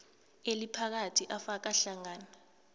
eliphakathi afaka hlangana